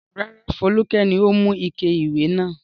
Rárá, Folúkẹ́ ni ó mú ike ìwẹ̀ náà.